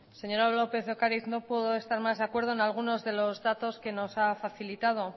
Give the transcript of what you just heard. señora lópez de ocariz no puedo estar más de acuerdo en algunos de los datos que nos ha facilitado